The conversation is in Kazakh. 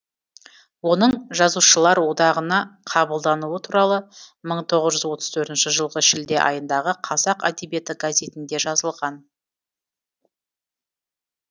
оның жазушылар одағына қабылдануы туралы мың тоғыз жүз отыз төртінші жылғы шілде айындағы қазақ әдебиеті газетінде жазылған